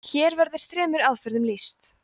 hér verður þremur aðferðum lýst